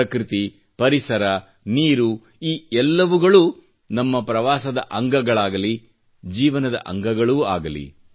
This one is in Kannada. ಪೃಕೃತಿ ಪರಿಸರ ನಿರು ಈ ಎಲ್ಲವುಗಳು ನಮ್ಮ ಪ್ರವಾಸದ ಅಂಗಗಳಾಗಲಿ ಜೀವನದ ಅಂಗಗಳೂ ಅಗಲಿ